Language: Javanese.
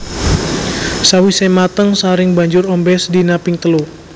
Sawisé mateng saring banjur ombe sedina ping telu